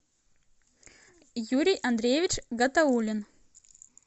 юрий андреевич гатаулин